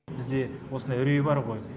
бізде осындай үрей бар ғой